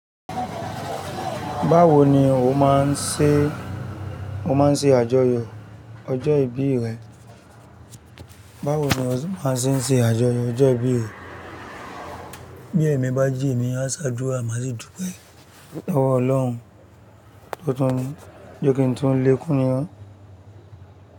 Báwo ni o máa ń ṣe, o máa ń ṣe àjọyọ̀ ọjọ́ ìbí rẹ? Báwo ni o se máa ṣì ń ṣe àjọyọ̀ ọjọ́ ìbí rẹ? Bí ẹ̀mi bá jí èmi, a ṣádura, máa sì dùú pé "lowọ̀ Ọlọ́hun, totun ni, jẹ́ kí n tó lè kú ní."